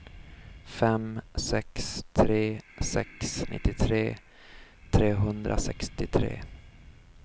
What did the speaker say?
fem sex tre sex nittiotre trehundrasextiotre